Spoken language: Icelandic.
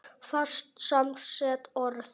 Fast samsett orð